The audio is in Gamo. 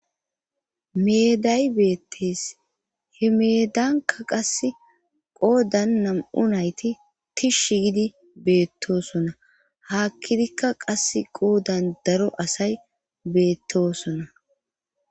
Meday beettees he meedanka qass qoodan nam7u nayti tishsh gidi beettosona haakkidikka qas qoodan daro asay beettosona